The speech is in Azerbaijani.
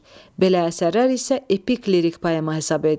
Belə əsərlər isə epik lirik poema hesab edilir.